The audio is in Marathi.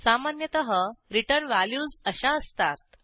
सामान्यतः रिटर्न व्हॅल्यूज अशा असतात